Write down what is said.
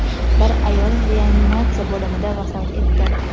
bir ayol reanimatsiya bo‘limida vafot etdi.